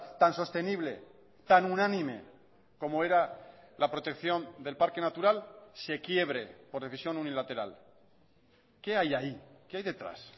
tan sostenible tan unánime como era la protección del parque natural se quiebre por decisión unilateral qué hay ahí qué hay detrás